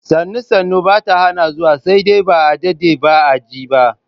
Sannu-sannu bata hana zuwa, sai dai a daɗe ba a je ba.